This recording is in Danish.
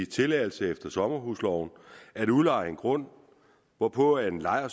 tilladelse efter sommerhusloven at udleje en grund hvorpå en lejer